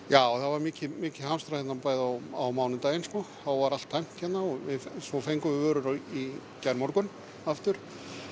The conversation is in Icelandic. já það var mikið mikið hamstrað hérna á mánudaginn þá var allt tæmt hérna svo fengum við vörur í gærmorgun aftur